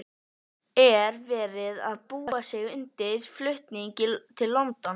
Er verið að búa sig undir flutning til London?